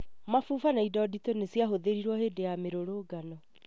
mabuba na indo nditũ nĩ ciahũthĩrirwo hĩndĩ ya mĩrũrũngano